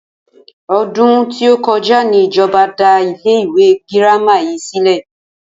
O̩dún tí ó ko̩já ni ìjo̩ba dá ilé ìwé girama yìí sílè̩